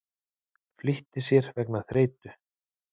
Flýtti sér vegna þreytu